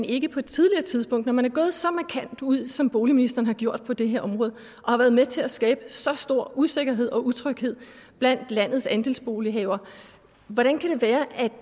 ikke på et tidligere tidspunkt når man er gået så markant ud som boligministeren har gjort på det her område og været med til at skabe så stor usikkerhed og utryghed blandt landets andelsbolighavere